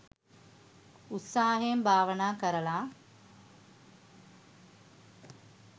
උත්සාහයෙන් භාවනා කරලා